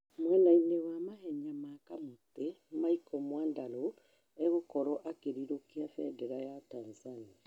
mwena-inĩ wa mahenya ma kamũtĩ Michael Gwandarũ agũkorwo akĩrirũkia bendera ya Tanzania